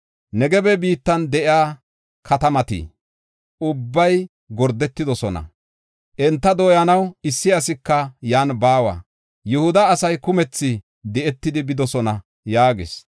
Negebe biittan de7iya katamati ubbay gordetidosona. Enta dooyanaw issi asika yan baawa. Yihuda asay kumethi di7etidi bidosona” yaagis.